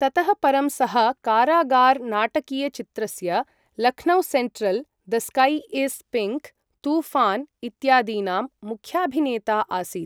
ततः परं सः कारागार नाटकीयचित्रस्य 'Lucknow central', 'the sky is pink', 'Toofan' इत्यादीनां मुख्याभिनेता आसीत्।